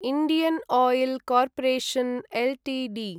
Indian Oil Corporation Ltd